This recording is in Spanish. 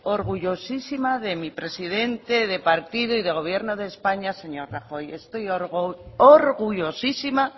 orgullosísima de mi presidente de partido y de gobierno de españa del señor rajoy estoy orgullosísima